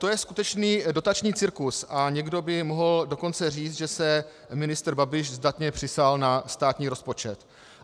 To je skutečný dotační cirkus, a někdo by mohl dokonce říct, že se ministr Babiš zdatně přisál na státní rozpočet.